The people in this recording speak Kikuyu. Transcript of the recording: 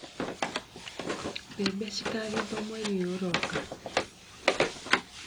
Mbebe cikagethwo mweri ũyũ ũroka.